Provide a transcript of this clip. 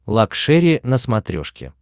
лакшери на смотрешке